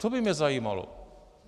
To by mě zajímalo.